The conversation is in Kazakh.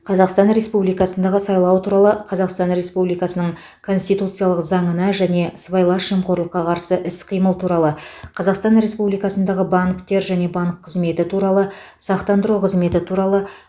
қазақстан республикасындағы сайлау туралы қазақстан республикасының конституциялық заңына және сыбайлас жемқорлыққа қарсы іс қимыл туралы қазақстан республикасындағы банктер және банк қызметі туралы сақтандыру қызметі туралы